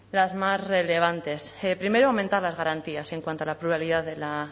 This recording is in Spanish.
las más relevantes primero aumentar las garantías en cuanto a la pluralidad de la